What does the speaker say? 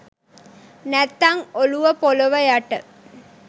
නැත්තං ඔළුව පොළව යට